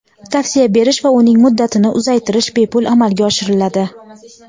tavsiya berish va uning muddatini uzaytirish bepul amalga oshiriladi.